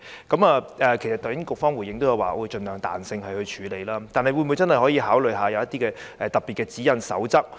其實局方剛才已回應說會盡量靈活處理，但當局會否真的考慮訂立一些特別的指引或守則？